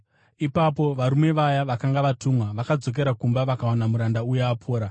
Ipapo varume vaya vakanga vatumwa vakadzokera kumba vakawana muranda uya apora.